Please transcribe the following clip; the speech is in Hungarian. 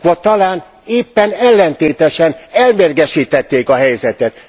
Vagy talán éppen ellentétesen, elmérgesítették a helyzetet.